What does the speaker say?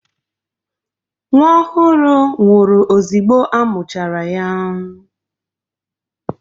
Nwa ọhụrụ nwụrụ ozigbo a muchara ya